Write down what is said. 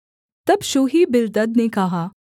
तब शूही बिल्दद ने कहा